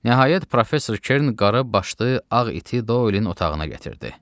Nəhayət, professor Kern qara başlı, ağ iti Doylun otağına gətirdi.